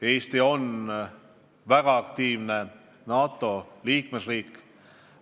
Eesti on väga aktiivne NATO liikmesriik.